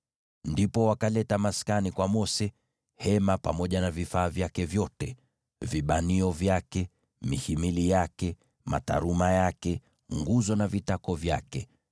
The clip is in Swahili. Ndipo wakaleta maskani kwa Mose: hema pamoja na vifaa vyake vyote, vibanio vyake, mihimili yake, mataruma yake, nguzo na vitako vyake;